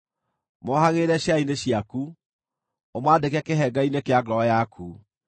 Mohagĩrĩre ciara-inĩ ciaku; ũmaandĩke kĩhengere-inĩ kĩa ngoro yaku.